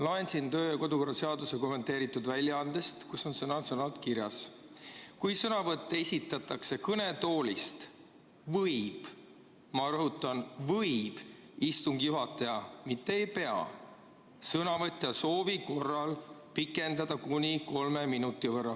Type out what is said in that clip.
Loen siin kodu‑ ja töökorra seaduse kommenteeritud väljaandest, kus on sõna-sõnalt kirjas, et kui sõnavõtt esitatakse kõnetoolist, võib – ma rõhutan, et võib, mitte ei pea – istungi juhataja sõnavõtja soovil kõnelemise aega pikendada kuni kolme minuti võrra.